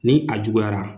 Ni a juguyara